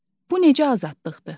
Bu necə azadlıqdır?